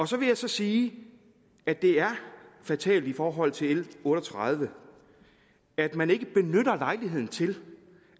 så vil jeg sige at det er fatalt i forhold til l otte og tredive at man ikke benytter lejligheden til